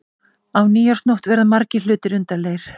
Á nýársnótt verða margir hlutir undarlegir.